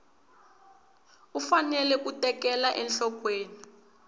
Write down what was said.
u fanele ku tekela enhlokweni